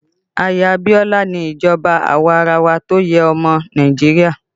Ayé Abiola ni ìjọba awarawa tó yé ọmọ Nàìjíríà